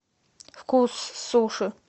вкус суши